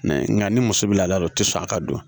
Nka ni muso bɛ laada don o tɛ sɔn a ka don